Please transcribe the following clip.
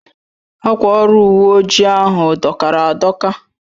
Akwa ọrụ uwe ojii ahu dọkara adọka